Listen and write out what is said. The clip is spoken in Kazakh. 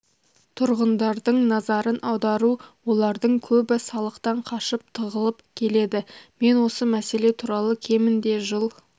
тұрғындардың назарын аудару олардың көбі салықтан қашып тығылып келеді мен осы мәселе туралы кемінде жыл